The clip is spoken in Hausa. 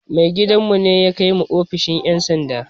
Mai gidan mu ne ya kai mu ofishin ƴan sanda